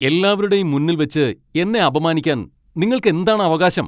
എല്ലാവരുടെയും മുന്നിൽവെച്ച് എന്നെ അപമാനിക്കാൻ നിങ്ങൾക്കെന്താണ് അവകാശം?!